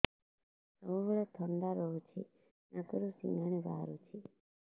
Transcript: ସବୁବେଳେ ଥଣ୍ଡା ରହୁଛି ନାକରୁ ସିଙ୍ଗାଣି ବାହାରୁଚି